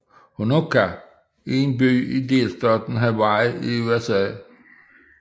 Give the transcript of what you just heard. Honokaa er en by i delstaten Hawaii i USA